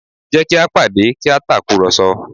Jẹ́ kí a pàdé kí a tàkùrọ̀sọ